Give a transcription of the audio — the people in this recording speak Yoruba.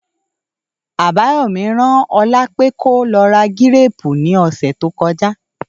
Àbáyọ̀mọ́ rán Ọlá pé kó lọ ra gírépu ní ọ̀sẹ̀ tó kọjá